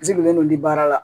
Misilen don di baara la